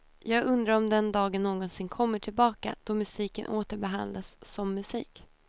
Jag undrar om den dagen någonsin kommer tillbaka då musiken åter behandlas som musik.